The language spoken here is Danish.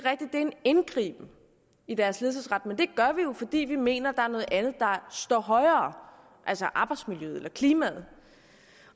er en indgriben i deres ledelsesret men det gør vi jo fordi vi mener er noget andet der står højere altså arbejdsmiljøet eller klimaet